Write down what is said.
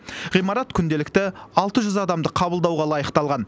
ғимарат күнделікті алты жүз адамды қабылдауға лайықталған